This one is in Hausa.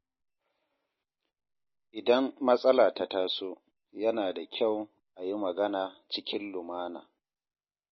Idan matsala ta taso, yana da kyau a yi magana cikin lumana.